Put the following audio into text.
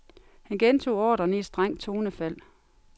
Han gentog ordren i et strengt tonefald.